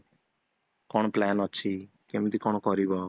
କଣ plan ଅଛି, କେମିତି କଣ କରିବ